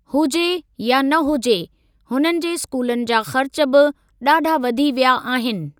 हुजे या न हुजे, हुननि जे स्कूलनि जा ख़र्च बि ॾाढा वधी विया आहिनि।